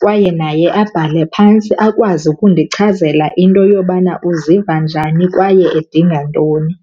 kwaye naye abhale phantsi akwazi ukundichazela into yobana uziva njani kwaye edinga ntoni.